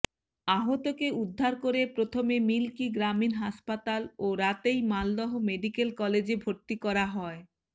আহতকে উদ্ধার করে প্রথমে মিল্কি গ্রামীণ হাসপাতাল ও রাতেই মালদহ মেডিক্যাল কলেজে ভরতি করা হয়